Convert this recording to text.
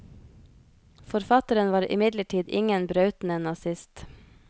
Forfatteren var imidlertid ingen brautende nazist.